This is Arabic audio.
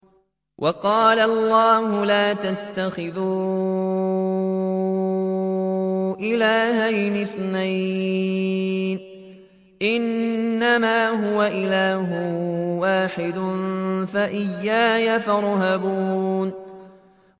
۞ وَقَالَ اللَّهُ لَا تَتَّخِذُوا إِلَٰهَيْنِ اثْنَيْنِ ۖ إِنَّمَا هُوَ إِلَٰهٌ وَاحِدٌ ۖ فَإِيَّايَ فَارْهَبُونِ